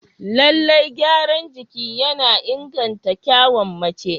Lallai gyaran jiki yana inganta kyawun mace.